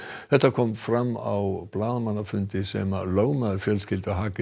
þetta kom fram á blaðamannafundi sem lögmaður fjölskyldu